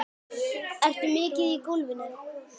Ertu mikið í golfinu?